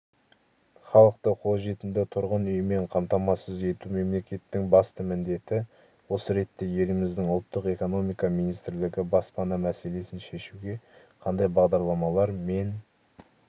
халықты қолжетімді тұрғын үймен қамтамасыз ету мемлекеттің басты міндеті осы ретте еліміздің ұлттық экономика министрлігі баспана мәселесін шешуге қандай бағдарламалар мен